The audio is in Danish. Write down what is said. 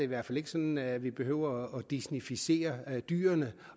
hvert fald ikke sådan at vi behøver at disneyficere dyrene